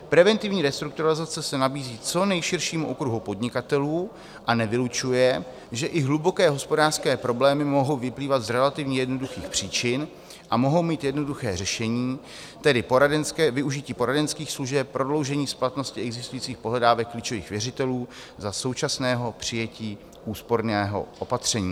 Preventivní restrukturalizace se nabízí co nejširšímu okruhu podnikatelů a nevylučuje, že i hluboké hospodářské problémy mohou vyplývat z relativně jednoduchých příčin a mohou mít jednoduché řešení, tedy poradenské využití poradenských služeb, prodloužení splatnosti existujících pohledávek klíčových věřitelů za současného přijetí úsporného opatření.